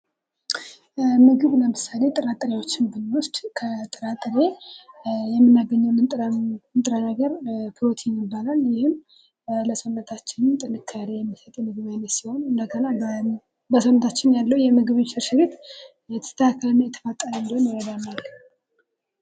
ምግብ ለምሳሌ ጥራጥሬዎችን ብንወስድ ከጥራጥሬ የምናገኘው ንጥረ ነገር ፕሮቲን ይባላል። ይህም ለሰውነታችን ጥንካሬ የሚሰጥ የምግብ አይነት ሲሆን፤ እንደገና በሰውነታችን ያለው የምግብ እንሽርሽሪት የተስተካከለና የተፋጠነ እንዲሆን ይረዳናል።